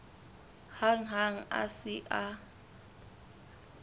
hang ha a se a